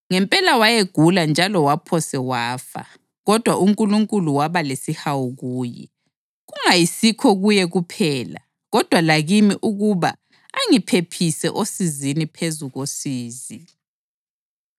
Ngempela wayegula njalo waphose wafa. Kodwa uNkulunkulu waba lesihawu kuye, kungayisikho kuye kuphela kodwa lakimi ukuba angiphephise osizini phezu kosizi.